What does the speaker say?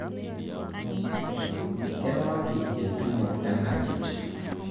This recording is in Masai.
Keewaki entumo enkanyit